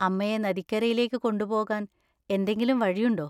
അമ്മയെ നദിക്കരയിലേക്ക് കൊണ്ടുപോകാൻ എന്തെങ്കിലും വഴിയുണ്ടോ?